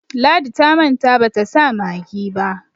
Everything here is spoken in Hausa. ladi ta manta bata sa maggi ba